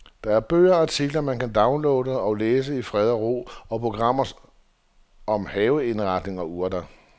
Der er bøger og artikler, man kan downloade og læse i ro og mag, og programmer om haveindretning og urter.